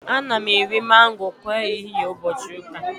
Ana m eri mango kwa ehihie ụbọchị ụka